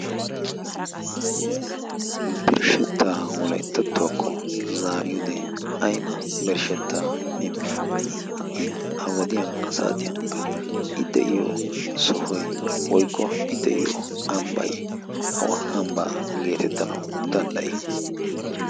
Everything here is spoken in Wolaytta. Birshshetta wolayttattuwaakko zaariyoode ayba birshshetta immi? Ha'i ha wadiyan saatiyankka i de'iyo sohoy woykko i de'iyo ambbay awa ambba geetettanawu dandday?